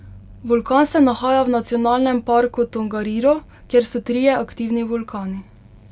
Vulkan se nahaja v nacionalnem parku Tongariro, kjer so trije aktivni vulkani.